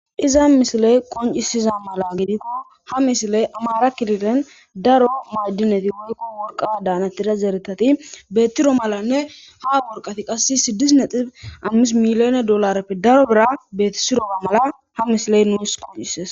Iza mishiley qoncisiza mala gidikko ha mishiley amara kirilen daro maaddineti wukko worqa daanatida zeeretati beettiro malanne ha borqati qass siddisne xif ammis miliyone dollareppe daro bira beeti siroba mala ha mishiley nuus qoncises.